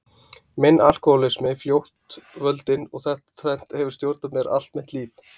Minn alkohólismi fljótt völdin og þetta tvennt hefur stjórnað mér allt mitt líf.